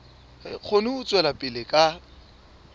kgone ho tswela pele ka